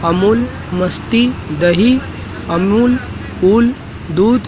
अमूल मस्ती दही अमूल कूल दूध--